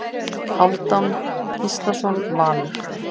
Hálfdán Gíslason Valur